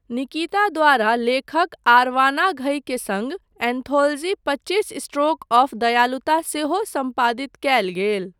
निकिता द्वारा लेखक आर्वाना घई के सङ्ग एन्थोलजी पच्चीस स्ट्रोक ऑफ़ दयालुता सेहो सम्पादित कयल गेल।